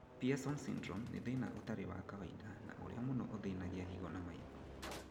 Pierson syndrome nĩ thĩna ũtarĩ wa kawaida na ũrĩa mũno ũthĩnagia higo na maitho